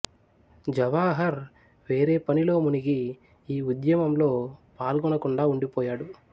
జవాహర్ వేరే పనిలో మునిగి ఈ ఉద్యమంలో పాల్గొనకుండా ఉండిపోయాడు